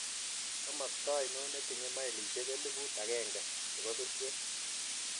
Komosto ainon netinye mailisiek elibuut agenge chebo surkwen